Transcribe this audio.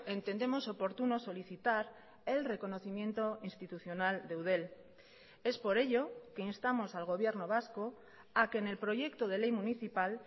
entendemos oportuno solicitar el reconocimiento institucional de eudel es por ello que instamos al gobierno vasco a que en el proyecto de ley municipal